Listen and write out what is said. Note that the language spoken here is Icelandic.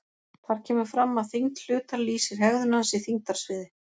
Þar kemur fram að þyngd hlutar lýsir hegðun hans í þyngdarsviði.